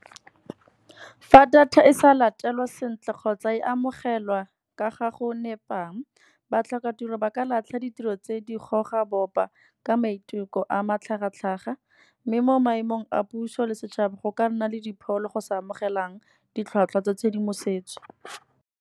Fa data e sa latelwa sentle kgotsa e amogelwa ka gago nepang. Batlhokatiro ba ka latlha ditiro tse di goga bopa ka maiteko a matlhagatlhaga. Mme mo maemong a puso le setšhaba go ka nna le dipholo go sa amogelang, ditlhwatlhwa tsa tshedimosetso.